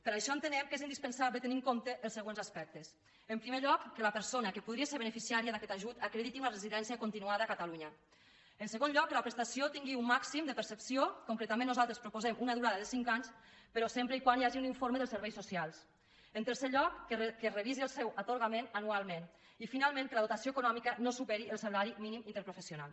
per això entenem que és indispensable tenir en compte els següents aspectes en primer lloc que la persona que podria ser beneficiària d’aquest ajut acrediti una residència continuada a catalunya en segon lloc que la prestació tingui un màxim de percepció concretament nosaltres proposem una durada de cinc anys però sempre que hi hagi un informe dels serveis socials en tercer lloc que es revisi el seu atorgament anualment i finalment que la dotació econòmica no superi el salari mínim interprofessional